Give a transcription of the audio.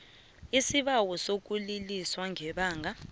isibawo sokuliliswa ngebanga